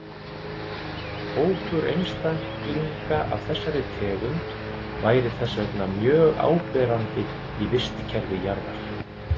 Hópur einstaklinga af þessari tegund væri þess vegna mjög áberandi í vistkerfi jarðar.